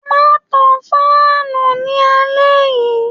Ma tan fáànù ní alé yìí.